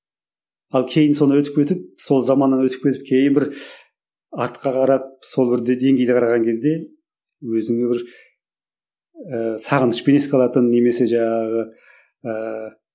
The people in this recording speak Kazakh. ал кейін соны өтіп кетіп сол заманнан өтіп кетіп кейін бір артқа қарап сол бір деңгейді қараған кезде өзіңе бір ііі сағынышпен еске алатын немесе жаңағы ыыы